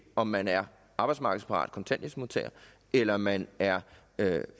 om man er arbejdsmarkedsparat kontanthjælpsmodtager eller man er